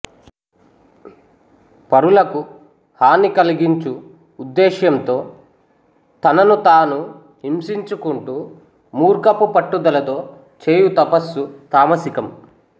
పరులకు హాని కల్గించు ఉద్దేశ్యంతో తనను తాను హింసించుకుంటూ మూర్ఖఫు పట్టుదలతో చేయు తపస్సు తామసికం